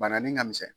Bana nin ka misɛn